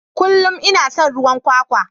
Kullum ina son ruwan kwakwa.